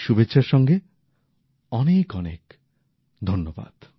এই শুভেচ্ছার সঙ্গে অনেক অনেক ধন্যবাদ